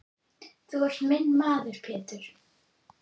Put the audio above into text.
Þú ert minn maður Pétur.